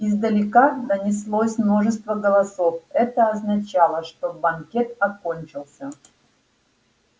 издалека донеслось множество голосов это означало что банкет окончился